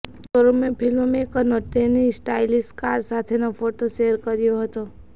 શોરૂમે ફિલ્મમેકરનો તેની stylish car સાથેનો ફોટો શેર કર્યો હતો